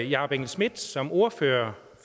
jakob engel schmidt som ordfører